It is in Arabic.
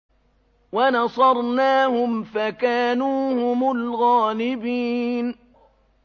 وَنَصَرْنَاهُمْ فَكَانُوا هُمُ الْغَالِبِينَ